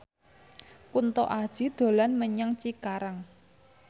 Kunto Aji dolan menyang Cikarang